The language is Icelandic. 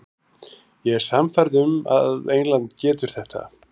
Ég er sannfærður um að England getur þetta.